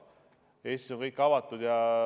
Eestis on kõik avatud.